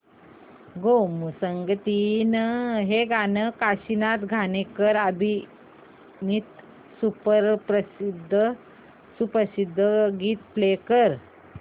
गोमू संगतीने हे काशीनाथ घाणेकर अभिनीत सुप्रसिद्ध गीत प्ले कर